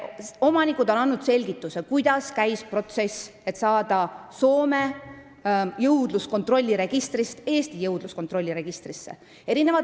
Omanikud on andnud selgituse, kuidas käis protsess, et saada loomad Soome jõudluskontrolliregistrist Eesti jõudluskontrolliregistrisse.